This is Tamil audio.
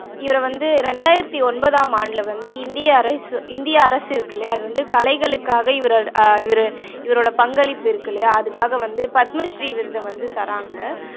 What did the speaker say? இவரை வந்து இரண்டாயிரத்து ஒன்பதாம் ஆண்டுல வந்து இந்திய அரசு, இந்திய அரசு இருக்கு இல்லையா அது வந்து கலைகளுக்காக இவர ஆஹ் இவரு இவரோட பங்களிப்பு இருக்கு இல்லையா அதுக்காக வந்து பத்மஸ்ரீ விருதை வந்து தர்றாங்க